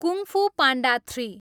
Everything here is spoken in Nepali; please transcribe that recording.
kung Fu Panda three